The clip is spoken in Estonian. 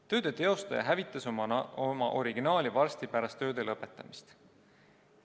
Tööde tegija hävitas oma originaali varsti pärast tööde lõpetamist.